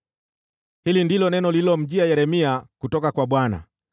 Hili ndilo neno lililomjia Yeremia kutoka kwa Bwana :